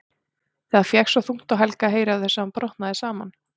Það fékk svo þungt á Helga að heyra af þessu að hann brotnaði saman.